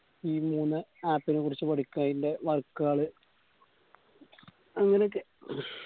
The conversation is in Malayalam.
ഈ മൂന്ന് app നെക്കുറിച്ച് പഠിക്ക അയിന്റെ work കള് അങ്ങനൊക്കെ